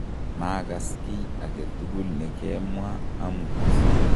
maakas kiy age tugul ne kemwaa amut